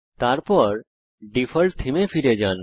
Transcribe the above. তারপর ডিফল্ট থীমে ফিরে যান